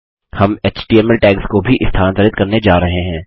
हम HTML tags को भी स्थानांतरित करने जा रहे हैं